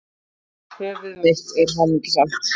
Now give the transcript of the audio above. Höfuð mitt er hamingjusamt.